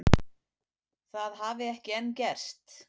Það hafi ekki enn gerst